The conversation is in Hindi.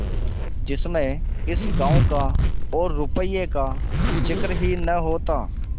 जिसमें इस गॉँव का और रुपये का जिक्र ही न होता